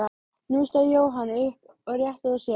Nú stóð Jóhann upp og rétti úr sér.